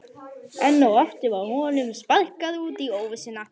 Enn og aftur var honum sparkað út í óvissuna.